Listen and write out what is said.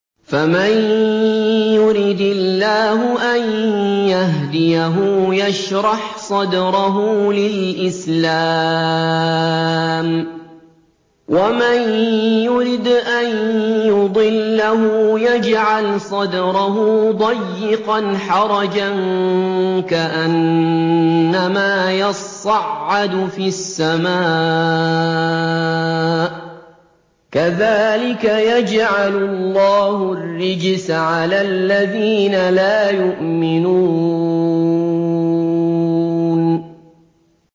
فَمَن يُرِدِ اللَّهُ أَن يَهْدِيَهُ يَشْرَحْ صَدْرَهُ لِلْإِسْلَامِ ۖ وَمَن يُرِدْ أَن يُضِلَّهُ يَجْعَلْ صَدْرَهُ ضَيِّقًا حَرَجًا كَأَنَّمَا يَصَّعَّدُ فِي السَّمَاءِ ۚ كَذَٰلِكَ يَجْعَلُ اللَّهُ الرِّجْسَ عَلَى الَّذِينَ لَا يُؤْمِنُونَ